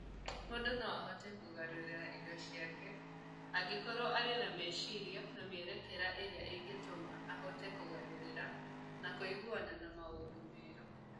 Mũndũ no ahote kũgarũrĩra indo ciake angĩkorũo arĩ na meciria na mĩerekera mĩega ĩrĩa ĩngĩtũma ahote kũgarũrĩra na kũiguana na maũndũ merũ.